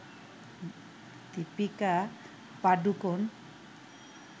Deepika Padukone